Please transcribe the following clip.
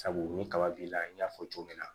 Sabu ni kaba b'i la n y'a fɔ cogo min na